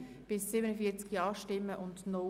Imboden, Bern] / SP-JUSO-PSA [Marti, Bern] – Nr. 3)